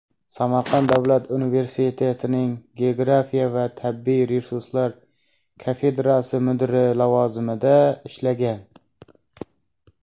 Samarqand davlat universitetining geografiya va tabiiy resurslar kafedrasi mudiri lavozimida ishlagan.